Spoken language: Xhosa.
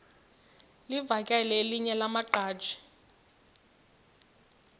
livakele elinye lamaqhaji